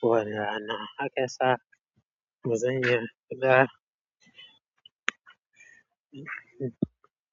kowane rana. Haka sa bazan iya fada.